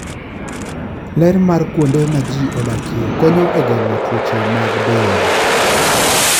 Ler mar kuonde ma ji odakie konyo e geng'o tuoche mag del.